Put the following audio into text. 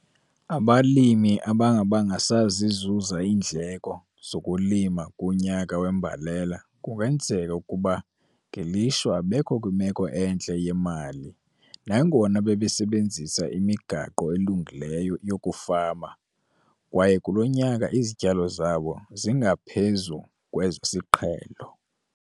Abalimi abangabanga sazizuza iindleko zokulima kunyaka wembalela kungenzeka ukuba ngelishwa abekho kwimeko entle yemali nangona bebesebenzisa imigaqo elungileyo yokufama kwaye kulo nyaka izityalo zabo zingaphezu kwezesiqhelo.